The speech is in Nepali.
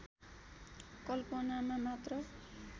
कल्पनामा मात्र